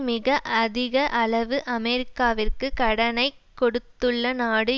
மிக அதிக அளவு அமெரிக்காவிற்கு கடனை கொடுத்துள்ள நாடு